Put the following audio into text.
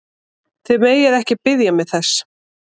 Þið megið ekki biðja mig þess!